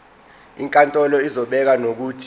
inkantolo izobeka nokuthi